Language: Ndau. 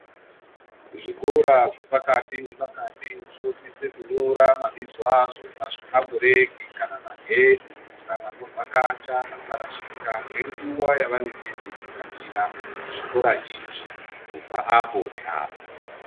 Zvikora zvepakati nepakati zvinosisa kunyora mabizo azvo pazvipambureki kana magedhi kuitire kuti vanovhakacha vasarashika ngenguwa yavanenge veivhakachira zvikora izvi kubva apo neapo.